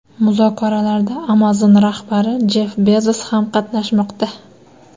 Muzokaralarda Amazon rahbari Jeff Bezos ham qatnashmoqda.